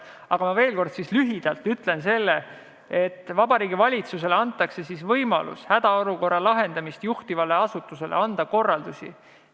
Aga ma veel kord ütlen lühidalt, et Vabariigi Valitsusele antakse võimalus jagada hädaolukorra lahendamist juhtivale asutusele korraldusi.